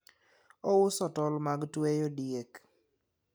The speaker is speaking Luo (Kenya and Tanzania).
ouso tol mag tweyo diek